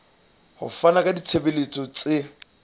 ho fana ka ditshebeletso tse